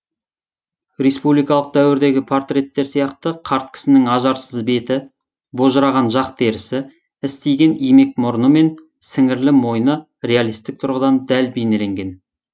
республикалық дәуірдегі портреттер сияқты қарт кісінің ажарсыз беті божыраған жақ терісі істиген имек мұрны мен сіңірлі мойны реалистік тұрғыдан дәл бейнеленген